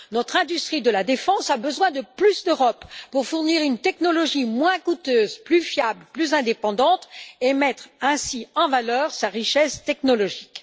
Notre industrie de la défense a besoin de plus d'Europe pour fournir une technologie moins coûteuse, plus fiable, plus indépendante et mettre ainsi en valeur sa richesse technologique.